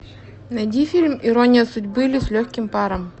найди фильм ирония судьбы или с легким паром